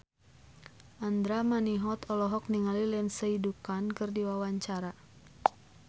Andra Manihot olohok ningali Lindsay Ducan keur diwawancara